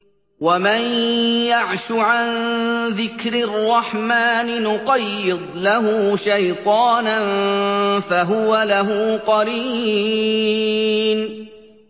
وَمَن يَعْشُ عَن ذِكْرِ الرَّحْمَٰنِ نُقَيِّضْ لَهُ شَيْطَانًا فَهُوَ لَهُ قَرِينٌ